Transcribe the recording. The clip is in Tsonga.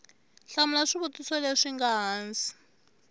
hlamula swivutiso leswi nga hansi